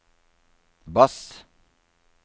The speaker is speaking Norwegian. bass